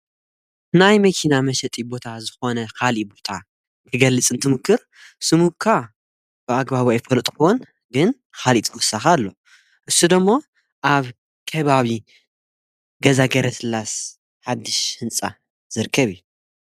ናይ መኪና መሸጢ ቦታ ዝኾነ ኻሊእ ቦታ ክገልፅ እንትሙክር ስሙካ ብኣግባቡ ኣፈልጥክወን። ግን ኻሊእተወሳኺ ኣሎ እሱ ደሞ ኣብ ከባቢ ገዛ ገረስላሰ ሓድሽ ህንጻ ዝርከብ እዩ።